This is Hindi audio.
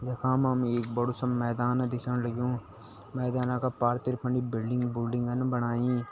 यखा मा एक बड़ू सा मैदान दिखेणु लग्युं मैदाना का पार्थिर फंडी बिल्डिंग बुल्डिंग बणाईं।